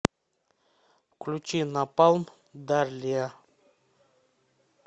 включи напалм дарлиа